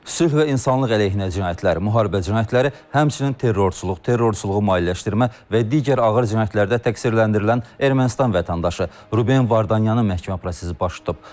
Sülh və insanlıq əleyhinə cinayətlər, müharibə cinayətləri, həmçinin terrorçuluq, terrorçuluğu maliyyələşdirmə və digər ağır cinayətlərdə təqsirləndirilən Ermənistan vətəndaşı Ruben Vardanyanın məhkəmə prosesi başlayıb.